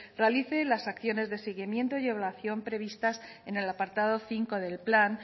realice las acciones de seguimiento y previstas en el apartado cinco del plan